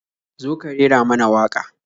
Zo ka rera mana waƙa.